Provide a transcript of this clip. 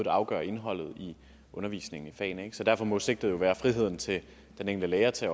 afgør indholdet i undervisningen i fagene derfor må sigtet jo være friheden til den enkelte lærer til